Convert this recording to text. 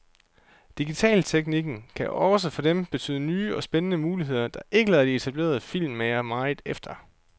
Digitalteknikken kan også for dem betyde nye og spændende muligheder, der ikke lader de etablerede filmmagere meget efter.